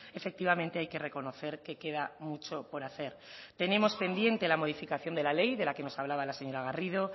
efectivamente hay que reconocer que queda mucho por hacer tenemos pendiente la modificación de la ley de la que nos hablaba la señora garrido